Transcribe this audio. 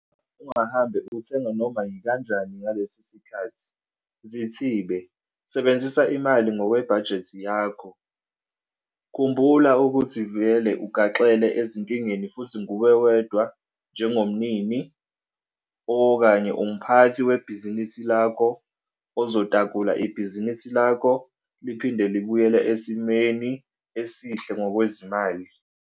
Ungahambe uthenga noma yikanjani ngalesi sikhathi. Zithibe - sebenzisa imali ngokwebhajethi yakho. Khumbula ukuthi vele ugaxele ezinkingeni futhi nguwe wedwa njengomnini, umphathi webhizinisi lakho ozotakula ibhizinisi lakho liphinde libuyele esimeni esihle ngokwezimali.